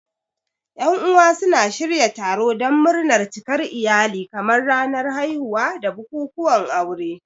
Yan uwa suna shirya taro don murnar cikar iyali kamar ranar haihuwa da bukukuwan aure.